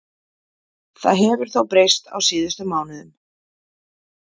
Það hefur þó breyst á síðustu mánuðum.